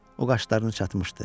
O qaşlarını çatmışdı.